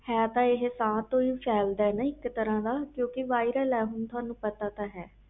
ਹੈ ਤਾ ਇਹ ਸਾਹ ਤੋਂ ਹੀ ਫੈਲ ਦਾ ਹੀ ਆ viral ਇਕ ਹਿਸਾਬ ਦਾ